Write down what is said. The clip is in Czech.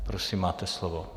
Prosím, máte slovo.